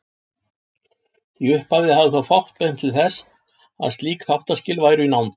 Í upphafi hafði þó fátt bent til þess að slík þáttaskil væru í nánd.